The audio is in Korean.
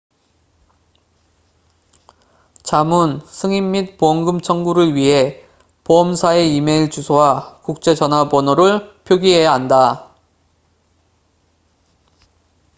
자문/승인 및 보험금 청구를 위해 보험사의 이메일 주소와 국제 전화번호를 표기해야 한다